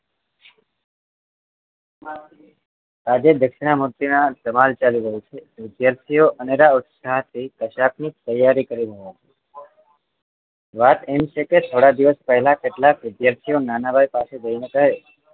આજે દક્ષિણા મૂર્તિના સવાલ ચાલી રહ્યા છે વિદ્યાર્થીઓ અનેરા ઉત્સાહ થી કસાકની તૈયારી કરી રહ્યા છે વાત એમ છે કે થોડા દિવસ પહેલા કેટલાક વિદ્યાર્થીઓ નાના ભાઈ પાસે જઈને કહે